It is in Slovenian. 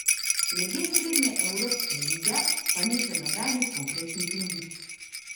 Glede srednjeevropske lige pa ni še nobenih konkretnih novic.